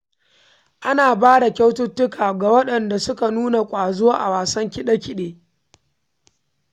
Ana ba da kyaututtuka ga waɗanda suka nuna ƙwazo a wasan kide-kide.